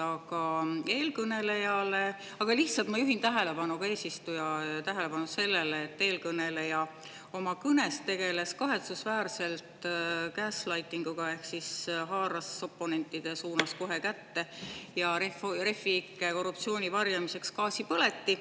Aga ma lihtsalt juhin tähelepanu, ka eesistuja tähelepanu sellele, et eelkõneleja oma kõnes tegeles kahetsusväärselt gaslighting'uga oponentide suunas ehk siis haaras Refi ikke korruptsiooni varjamiseks kätte gaasipõleti.